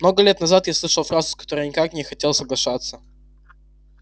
много лет назад я услышал фразу с которой никак не хотел соглашаться